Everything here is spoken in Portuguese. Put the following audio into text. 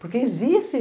Porque existe.